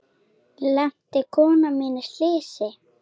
Lenti konan mín í slysi?